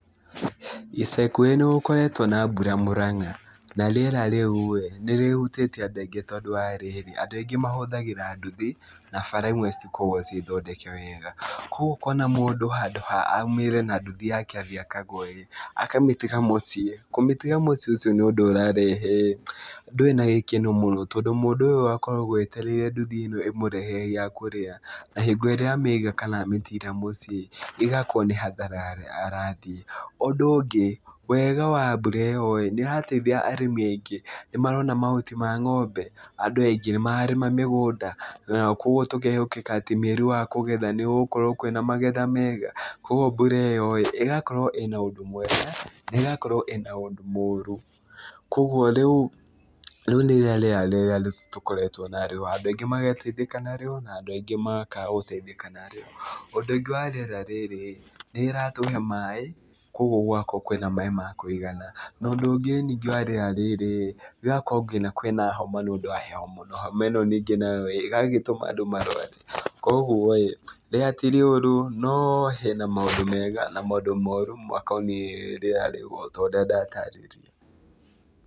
Ica ikuhĩ nĩ gũkoretwo na mbura Murang'a. Na rĩera rĩu ĩĩ, nĩ rĩhutĩtie andũ aingĩ tondũ wa rĩrĩ, andũ aingĩ mahuthagĩra nduthi na bara imwe cikoragwo ciĩ thondeke wega. Kũguo ũkona mũndũ handũ ha aumĩre na nduthi yake athiĩ akagũe ĩĩ, akamĩtiga mũciĩ. Kũmĩtiga mũciĩ ũcio nĩ ũndũ ũrarehe, ndũrĩ na gĩkeno mũno. Tondũ mũndũ ũyũ akoragwo etererie nduthi ĩno ĩmũrehere gĩa kũrĩa. Na hingo ĩrĩa mĩiga kana amĩtira mũciĩ ĩĩ, ĩgakorwo nĩ hathara arathiĩ. Ũndũ ũngĩ, wega wa mbura ĩyo ĩĩ, nĩ ĩrateithia arĩmi aingĩ. Nĩ marona mahuti ma ng'ombe. Andũ aingĩ, nĩ mararĩma mĩgũnda. Kũguo tũkehokĩka atĩ mweri wa kũgetha nĩ gũgũkorwo kwĩna magetha mega. Kũguo mbura ĩyo ĩĩ ĩgakorwo ĩna ũndũ mwega, na ĩgakorwo ĩna ũndũ mũũru. Kũguo rĩu rĩu nĩrĩo rĩera rĩrĩa tũkoretwo na rĩo. Andũ aingĩ magateithĩka na rĩo, na andũ aingĩ makaga gũteithĩka na rĩo. Ũndũ ũngĩ wa rĩera rĩrĩ, nĩ rĩratũhe maĩ, kũguo gũgakorwo kwĩna maĩ ma kũigana. Na ũndũ ũngĩ ningĩ wa rĩera rĩrĩ, rĩgakorwo nginya kwĩna homa nĩ ũndũ wa heho mũno. Homa ĩno ningĩ nayo ĩĩ, ĩgagĩtũma andũ marũare. Kũgui ĩĩ, rĩera ti rĩũru, no hena maũndũ mega na maũndũ moru makoniĩ rĩera rĩu o ta ũrĩa ndatarĩria.